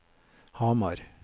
Hamar